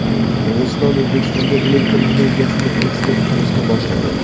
Qirg‘iziston O‘zbekistonga elektr energiyasini eksport qilishni boshladi.